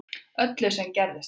Öllu sem gerðist þarna